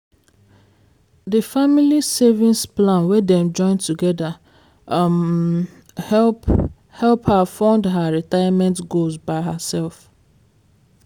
di family savings plan wey dem join together um help help her fund own retirement goals by herself.